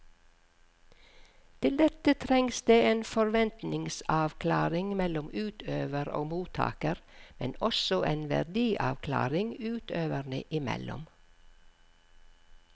Til dette trengs det en forventningsavklaring mellom utøver og mottaker, men også en verdiavklaring utøverne imellom.